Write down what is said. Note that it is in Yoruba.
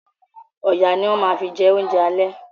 Ọ̀yà ni wọ́n ma fi jẹ oúnjẹ àlẹ́